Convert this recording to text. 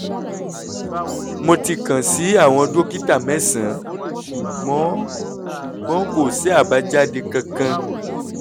mo ti kàn sí àwọn dókítà mẹ́sàn-án ṣùgbọ́n ṣùgbọ́n kò sí àbájáde kankan